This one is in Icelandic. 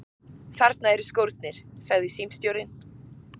Þarna eru skórnir, sagði símstjórinn.